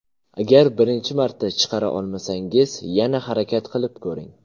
Agar birinchi marta chiqara olmasangiz, yana harakat qilib ko‘ring.